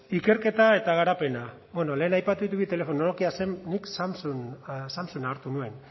ikerketa eta garapena bueno lehen aipatu ditut bi telefono nokia zen nik samsunga hartu nuen